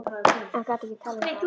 En gat ekki talað um það.